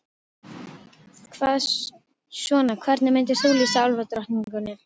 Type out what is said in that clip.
Hvað svona, hvernig myndir þú lýsa álfadrottningunni?